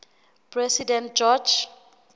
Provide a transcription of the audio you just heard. president george